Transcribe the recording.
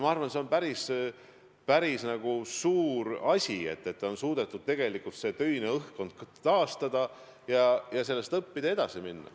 Minu arvates see on päris suur asi, et on suudetud töine õhkkond taastada ja sellest õppida, edasi minna.